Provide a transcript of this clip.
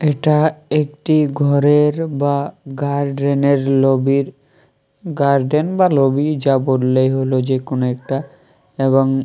এটা একটি ঘরের বা গার্ডেনের লবির গার্ডেন বা লবি যা বললে হল যে কোন একটা এবং --